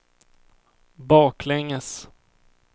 baklänges